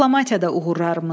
Diplomatiyada uğurlarımız.